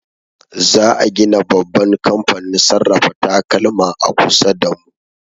Za a gina babban kamfanin sarrafa takalma a kusa da mu.